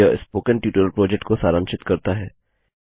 यह spoken tutorial project को सारांशित करता है